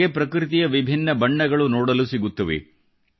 ನಮಗೆ ಪ್ರಕೃತಿಯ ವಿಭಿನ್ನ ಬಣ್ಣಗಳು ನೋಡಲು ಸಿಗುತ್ತವೆ